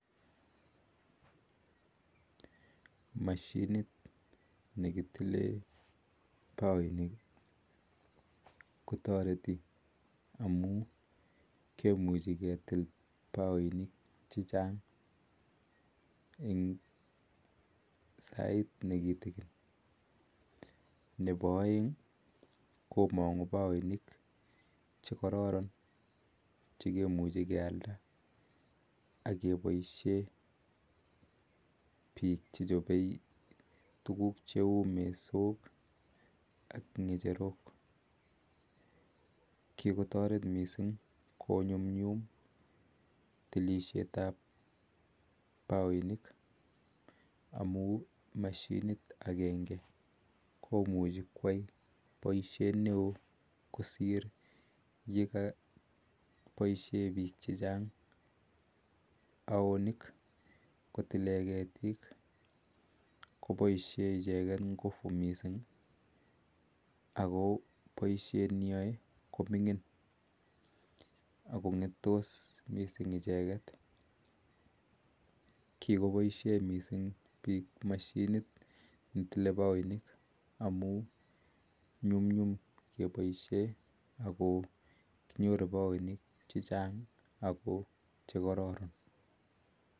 Mashiniit nekitileen pakoinik kotaritii amun kimuchii ketil pakoinik chechang nepo aek komanguu pakoinik chekararan cheichii kealda ipkopaisheen piik kochopee tuguuk cheuuu mesoook ak kitandosheek paisheen piik mashinisheeek kosir poishet am aiwosheek ako poishet neaa komingin kikopaishee piik missing mashinisheek amun kinyoru pakoisheek chekararan